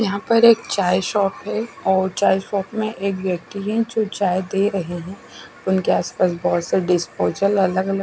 यहाँ पर एक चाय शॉप है और चाय शॉप में एक व्यक्ति है जो चाय दे रहे है उनके आस पास बोहोत सारे डिस्पोजल अलग अलग--